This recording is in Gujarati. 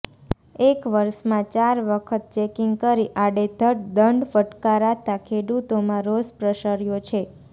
એક વર્ષમાં ચાર વખત ચેકીંગ કરી આડેધડ દંડ ફટકારાતાં ખેડૂતોમાં રોષ પ્રસર્યો છે